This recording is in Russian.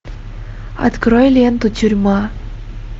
открой ленту тюрьма